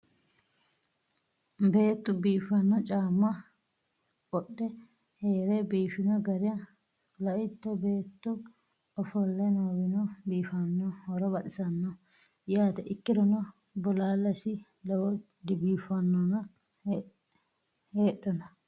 beetu biifanno caamma qodhe heere biifino gara laitto beetu ofolle noowino biifannoo horo baxisanno yaate ikkirono bolaallesi lowo dibiiffannona hedhona